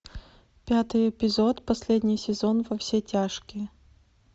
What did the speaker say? пятый эпизод последний сезон во все тяжкие